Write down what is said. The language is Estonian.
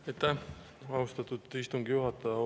Aitäh, austatud istungi juhataja!